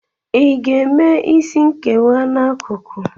Ị ga-eme isi nkewa n'akụkụ?